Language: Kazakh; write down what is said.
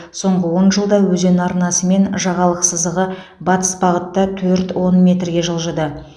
соңғы он жылда өзен арнасы мен жағалық сызығы батыс бағытта төрт он метрге жылжыды